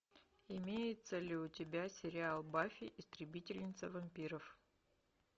имеется ли у тебя сериал баффи истребительница вампиров